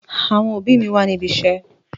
Àwọn òbí mi wà ní ibiṣẹ́.